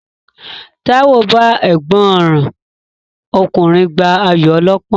Táíwò bá ẹ̀gbọ́n rán ọkùnrin gbá ayò ọlọ́pọ́n